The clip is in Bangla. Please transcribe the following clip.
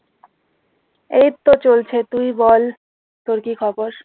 এই তো চলছে তুই বল তোর কি খবর?